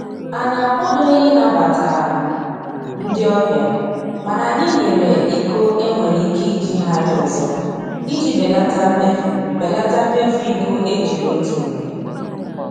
Anyị akwadoghị ịnabata ndị ọbịa mana anyị nyere iko e nwere ike ijigharị ọzọ iji belata mmefu belata mmefu iko e jiri otu mgbe